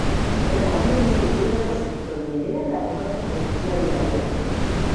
Mĩmera mĩnini ĩigwo ciitoinĩ nĩ getha ĩhote kũhujia rĩera wega.